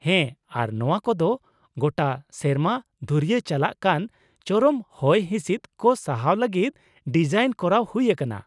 ᱦᱮᱸ, ᱟᱨ ᱱᱚᱶᱟ ᱠᱚᱫᱚ ᱜᱚᱴᱟ ᱥᱮᱨᱢᱟ ᱫᱷᱩᱨᱭᱟᱹ ᱪᱟᱞᱟᱜ ᱠᱟᱱ ᱪᱚᱨᱚᱢ ᱦᱚᱭ ᱦᱤᱸᱥᱤᱫ ᱠᱚ ᱥᱟᱦᱟᱣ ᱞᱟᱹᱜᱤᱫ ᱰᱤᱡᱟᱤᱱ ᱠᱚᱨᱟᱣ ᱦᱩᱭ ᱟᱠᱟᱱᱟ ᱾